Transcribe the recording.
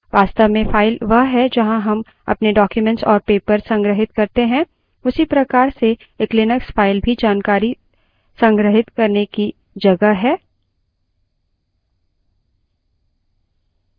वास्तव में file वह है जहाँ हम अपने documents और papers संग्रहित करते हैं उसी प्रकार से एक लिनक्स file भी जानकारी को संग्रहित करने की जगह है